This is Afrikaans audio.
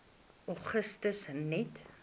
augustus net